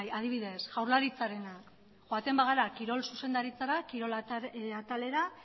adibidez jaurlaritzarena joaten bagara kirol zuzendaritzara kirol atalera